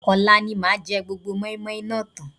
Ọ̀la ni màá jẹ gbogbo mọ́ímọ́í náà tán